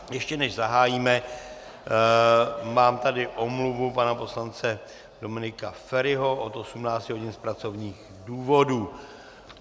Ještě než zahájíme, mám tady omluvu pana poslance Dominika Feriho od 18 hodin z pracovních důvodů.